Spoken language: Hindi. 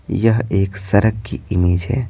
यह एक सड़क की इमेज है।